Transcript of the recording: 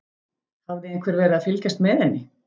Hafði einhver verið að fylgjast með henni?